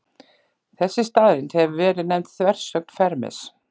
Þessi staðreynd hefur verið nefnd þversögn Fermis.